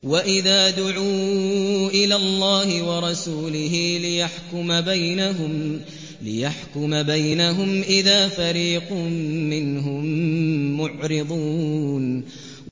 وَإِذَا دُعُوا إِلَى اللَّهِ وَرَسُولِهِ لِيَحْكُمَ بَيْنَهُمْ إِذَا فَرِيقٌ مِّنْهُم مُّعْرِضُونَ